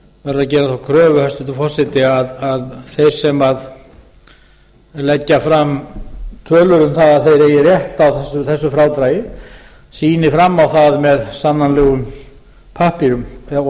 að gera þá kröfu hæstvirtur forseti að þeir sem leggja fram tölur um það að þeir eigi rétt á þessu frádragi sýni fram á það með sannanlegum pappírum og